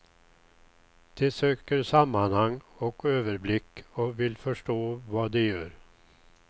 De söker sammanhang och överblick och vill förstå vad de gör.